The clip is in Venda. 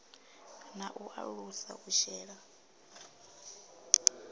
na u alusa u shela